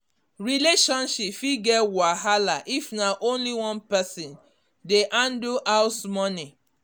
relationship fit get wahala if na only one person dey handle house money